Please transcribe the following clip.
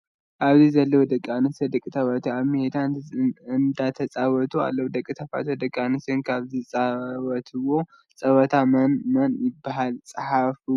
ኣብዚ ዘለው ደቂኣንስትዮን ደቂ ተባዕትዮን ኣብ ሜዳ እንዳተፀወቱ ኣለው። ደቂ ተባዕትዮን ደቂ ኣንስትዮነ ካብ ዝፃወትዎም ፀወታት መን መን ይበሃሉ? ፃሓፍዎም ።